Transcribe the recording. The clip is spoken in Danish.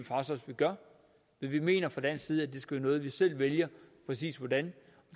vi gør men vi mener fra dansk side skal være vi selv vælger præcis hvordan